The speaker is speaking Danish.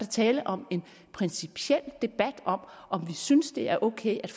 tale om en principiel debat om om vi synes det er ok at